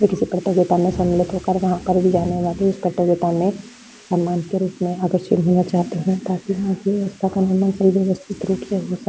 ये किसी प्रतियोगिता में सम्मिलित होकर वहाँ पर की जाने वाली उस प्रतियोगिता में सम्मान के रूप में आकर्षित होना चाहते हैं ताकि वहाँ की व्यवस्था का निर्माण सही व्यवस्थित रूप से हो स --